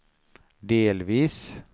delvis